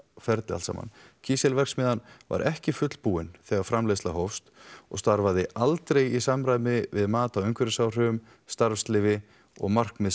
ferli allt saman kísilverksmiðjan var ekki fullbúin þegar framleiðslan hófst og starfaði aldrei í samræmi við mat á umhverfisáhrifum starfsleyfi og markmið